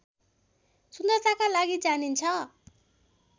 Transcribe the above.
सुन्दरताका लागि जानिन्छ